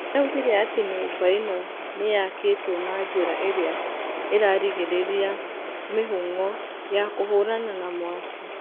Nĩ augire atĩ nyũmba ĩno nĩ yakitwo na njĩra ĩrĩa ĩrarigirĩria mĩhũng'o ya kũhũrana na mwaki.